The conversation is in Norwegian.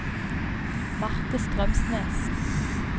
Marte Strømsnes